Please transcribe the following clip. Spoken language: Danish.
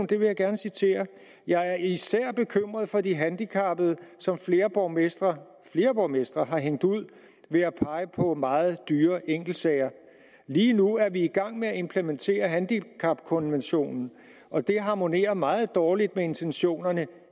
det vil jeg gerne citere jeg er især bekymret for de handicappede som flere borgmestre har borgmestre har hængt ud ved at pege på meget dyre enkeltsager lige nu er vi i gang med at implementere handicapkonventionen og det harmonerer meget dårligt med intentionerne